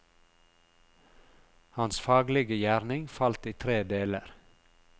Hans faglige gjerning falt i tre deler.